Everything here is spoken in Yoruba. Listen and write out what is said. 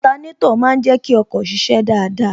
Otanétò má ń jẹ kí ọkọ̀ ṣiṣẹ́ dáadáa